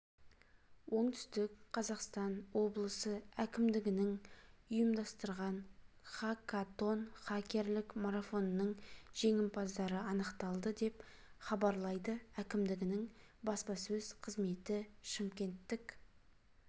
оңтүстік қазақстан облысы әкімдігі ұйымдастырған хакатон хакерлік марафонының жеңімпаздары анықталды деп хабарлайды әкімдігінің баспасөз қызметі шымкенттік